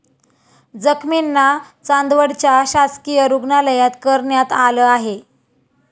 जखमींना चांदवडच्या शासकीय रुग्णालयात करण्यात आलं आहे.